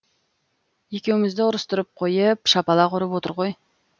екеумізді ұрыстырып қойеееп шапалақ ұрып отыр ғой